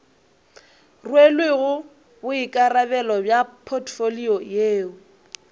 rwelego boikarabelo bja potfolio yeo